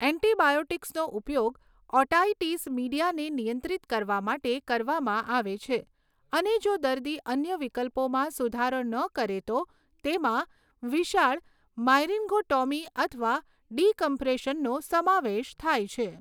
એન્ટિબાયોટિક્સનો ઉપયોગ ઓટાઇટિસ મીડિયાને નિયંત્રિત કરવા માટે કરવામાં આવે છે, અને જો દર્દી અન્ય વિકલ્પોમાં સુધારો ન કરે તો તેમાં વિશાળ માયરીન્ગોટોમી અથવા ડિકમ્પ્રેશનનો સમાવેશ થાય છે.